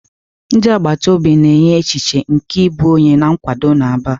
Ndị agbata obi na-enye echiche nke ịbụ onye na nkwado n'Aba.